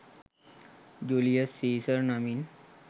Julius Caesar නමින්